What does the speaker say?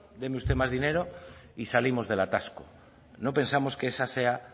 deme usted más dinero y salimos del atasco no pensamos que esa sea